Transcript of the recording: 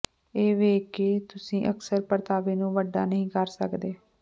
ਇਹ ਵੇਖ ਕੇ ਕਿ ਤੁਸੀਂ ਅਕਸਰ ਪਰਤਾਵੇ ਨੂੰ ਵੱਡਾ ਨਹੀਂ ਕਰ ਸਕਦੇ